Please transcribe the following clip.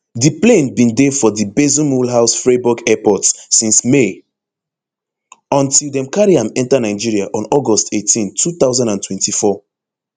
di plane bin dey for di basle mulhouse freiburg airport since may until dem carry am enta nigeria on august eighteen two thousand and twenty-four